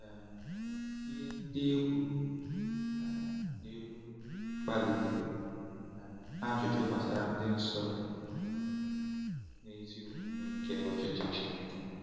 um Ihe ndị e kwuru um n’elu kpalitere um ajụjụ gbasara ịdị nsọ na ezi omume nke ọchịchị Chineke.